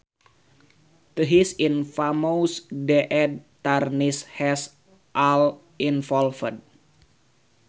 This infamous deed tarnishes all involved